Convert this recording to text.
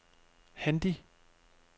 Handi